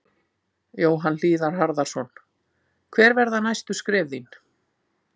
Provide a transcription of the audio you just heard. Jóhann Hlíðar Harðarson: Hver verða næstu skref þín?